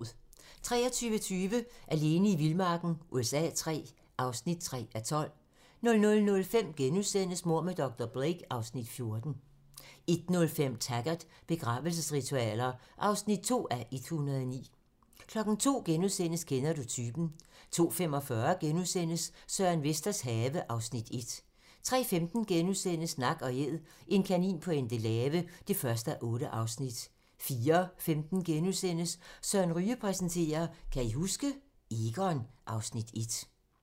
23:20: Alene i vildmarken USA III (3:12) 00:05: Mord med dr. Blake (Afs. 14)* 01:05: Taggart: Begravelsesritualer (2:109) 02:00: Kender du typen? *(tir) 02:45: Søren Vesters have (Afs. 1)* 03:15: Nak & Æd - en kanin på Endelave (1:8)* 04:15: Søren Ryge præsenterer: Kan I huske? - Egon (Afs. 1)*